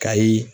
Kayi